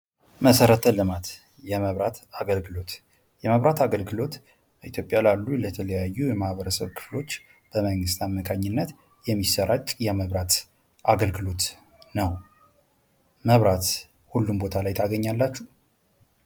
መሰረተ ለማት የመብራት አገልግሎት በኢትዮጵያ ላሉ ለተለያዩ ክፍሎች በመንግስት አማካኝነት የሚሰራጭ የመብራት አገልግሎት ነው:: መብራት ሁሉም ቦታ ላይ ታገኛላችሁ?